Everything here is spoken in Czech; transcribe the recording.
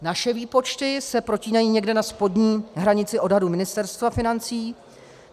Naše výpočty se protínají někde na spodní hranici odhadu Ministerstva financí.